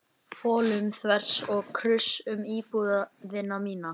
folum þvers og kruss um íbúðina mína!